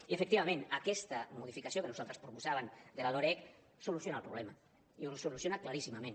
i efectivament aquesta modificació que nosaltres proposàvem de la loreg soluciona el problema i el soluciona claríssimament